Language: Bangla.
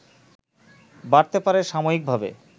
বাড়তে পারে সাময়িকভাবে